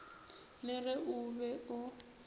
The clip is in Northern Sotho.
le ge o be o